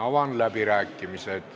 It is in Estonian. Avan läbirääkimised.